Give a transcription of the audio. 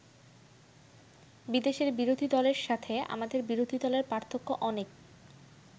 বিদেশের বিরোধী দলের সাথে আমাদের বিরোধী দলের পার্থক্য অনেক।